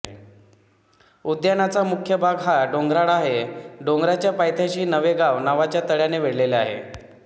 उद्यानाचा मुख्य भाग हा डोंगराळ आहे डोंगराच्या पायथ्याशी नवेगाव नावाच्या तळ्याने वेढलेले आहे